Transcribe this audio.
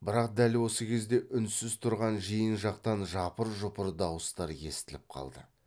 бірақ дәл осы кезде үнсіз тұрған жиын жақтан жапыр жұпыр дауыстар естіліп қалды